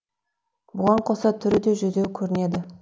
бұған қоса түрі де жүдеу көрінеді